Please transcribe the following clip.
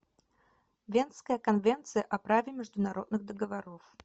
венская конвенция о праве международных договоров